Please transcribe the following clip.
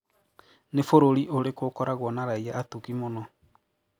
Nĩ bũrũri ũrĩkũ ukoragwo na raia atugi mũno?